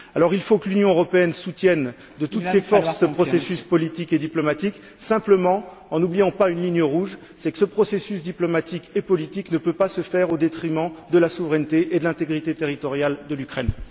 Alors, il faut que l'Union européenne soutienne de toutes ses forces ce processus politique et diplomatique simplement en n'oubliant pas une ligne rouge, c'est que ce processus diplomatique et politique ne peut pas se faire au détriment de la souveraineté et de l'intégrité territoriale de l'Ukraine.